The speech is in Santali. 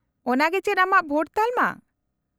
-ᱚᱱᱟᱜᱮ ᱪᱮᱫ ᱟᱢᱟᱜ ᱵᱷᱳᱴ ᱛᱟᱞᱢᱟ ?